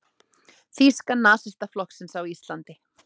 Þýska nasistaflokksins á Íslandi.